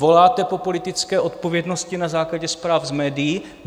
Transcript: Voláte po politické odpovědnosti na základě zpráv z médií.